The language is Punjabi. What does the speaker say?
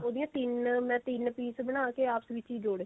ਉਹਦੀਆਂ ਤਿੰਨ ਮੈਂ ਤਿੰਨ piece ਬਣਾ ਕੇ ਆਪਸ ਵਿੱਚ ਹੀ ਜੋੜੇ